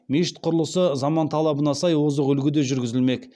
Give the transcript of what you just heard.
мешіт құрылысы заман талабына сай озық үлгіде жүргізілмек